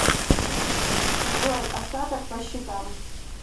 джой остаток по счетам